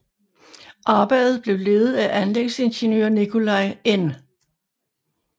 Arbejdet blev ledet af anlægsingeniør Nicolay N